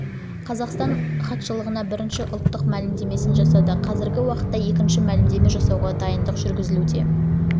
жылы қазақстан хатшылығына бірінші ұлттық мәлімдемесін жасады қазіргі уақытта екінші мәлімдеме жасауға дайындық жүргізілуде